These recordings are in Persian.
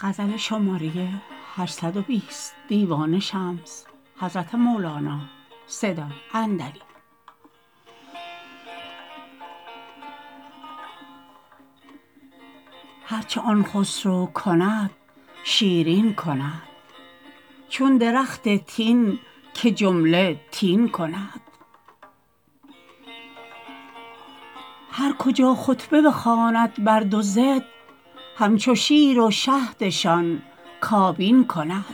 هر چه آن خسرو کند شیرین کند چون درخت تین که جمله تین کند هر کجا خطبه بخواند بر دو ضد همچو شیر و شهدشان کابین کند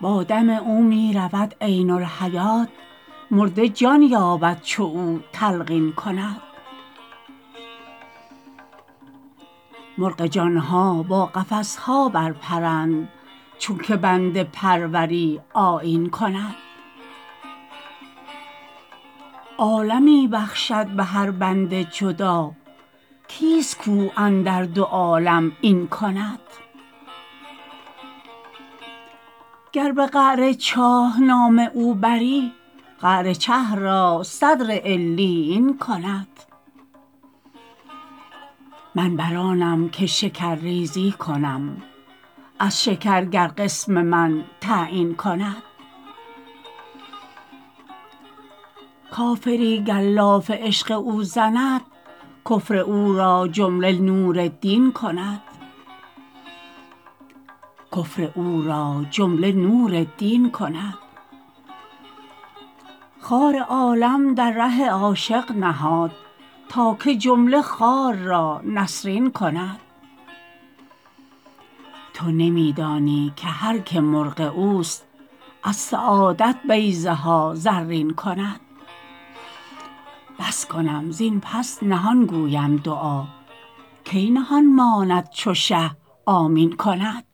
با دم او می رود عین الحیات مرده جان یابد چو او تلقین کند مرغ جان ها با قفس ها برپرند چونک بنده پروری آیین کند عالمی بخشد به هر بنده جدا کیست کو اندر دو عالم این کند گر به قعر چاه نام او بری قعر چه را صدر علیین کند من بر آنم که شکرریزی کنم از شکر گر قسم من تعیین کند کافری گر لاف عشق او زند کفر او را جمله نور دین کند خار عالم در ره عاشق نهاد تا که جمله خار را نسرین کند تو نمی دانی که هر که مرغ اوست از سعادت بیضه ها زرین کند بس کنم زین پس نهان گویم دعا کی نهان ماند چو شه آمین کند